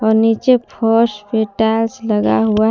और नीचे फर्श पे टाइल्स लगा हुआ है--